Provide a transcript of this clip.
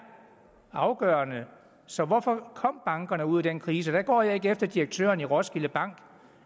afgørende så hvorfor kom bankerne ud i den krise der går jeg ikke efter direktøren i roskilde bank